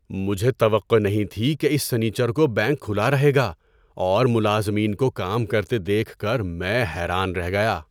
مجھے توقع نہیں تھی کہ اس سنیچر کو بینک کھلا رہے گا اور ملازمین کو کام کرتے دیکھ کر میں حیران رہ گیا۔